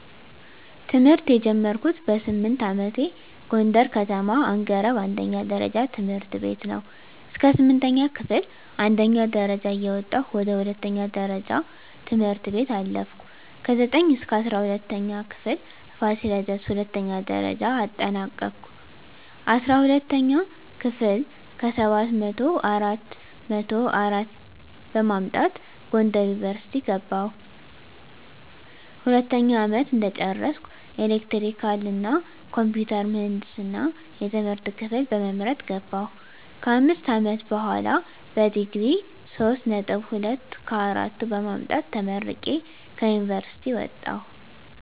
ትምህርት የጀመርኩት በስምንት አመቴ ጎንደር ከተማ አንገረብ አንደኛ ደረጃ ትምህርት ቤት ነው። እስከ ስምንተኛ ክፍል አንደኛ ደረጃ እየወጣሁ ወደ ሁለተኛ ደረጃ ትምህርት ቤት አለፍኩ። ከዘጠኝ እስከ እስራ ሁለተኛ ክፍል ፋሲለደስ ሁለተኛ ደረጃ አጠናቀኩኝ። አስራ ሁለተኛ ክፍል ከሰባት መቶው አራት መቶ አራት በማምጣት ጎንደር ዩኒቨርሲቲ ገባሁ። ሁለተኛ አመት እንደጨረስኩ ኤሌክትሪካል እና ኮምፒውተር ምህንድስና የትምህርት ክፍል በመምረጥ ገባሁ። ከአምስት አመት በሆላ በዲግሪ ሶስት ነጥብ ሁለት ከአራቱ በማምጣት ተመርቄ ከዩኒቨርሲቲ ወጣሁ።